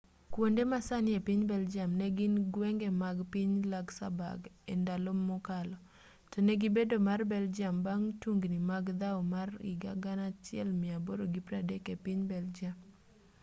kuonde masani epiny belgium negin gwenge mag piny luxembourg endalo mokalo tonegi bedo mar belgium bang' tungni mag dhaw mar 1830 epiny belgium